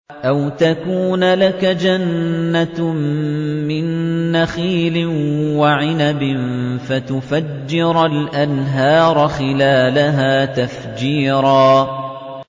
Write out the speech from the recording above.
أَوْ تَكُونَ لَكَ جَنَّةٌ مِّن نَّخِيلٍ وَعِنَبٍ فَتُفَجِّرَ الْأَنْهَارَ خِلَالَهَا تَفْجِيرًا